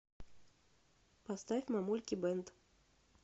поставь мамульки бенд